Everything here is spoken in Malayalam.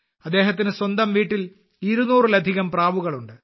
അദ്ദേഹത്തിന് സ്വന്തം വീട്ടിൽ 200ലധികം പ്രാവുകൾ ഉണ്ട്